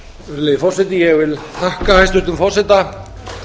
virðulegi forseti ég þakka hæstvirtum forseta